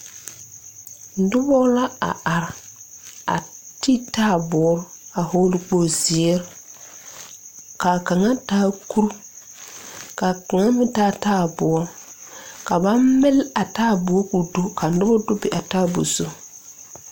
Nobɔ la a are a ti taaboore a hɔɔle kpogle zeere kaa kaŋa taa kure kaa kaŋa meŋ taa taaboɔ ka ba mile a taaboɔ koo do ka nobɔ do be a taaboɔ zu.